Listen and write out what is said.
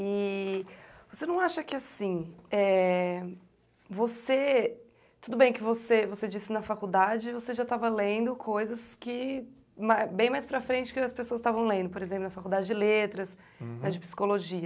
E você não acha que assim, é ... você, tudo bem que você você disse na faculdade, você já estava lendo coisas que, né, bem mais para frente que as pessoas estavam lendo, por exemplo, na faculdade de letras, de psicologia.